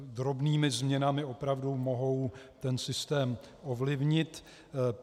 Drobnými změnami opravdu mohou ten systém ovlivnit.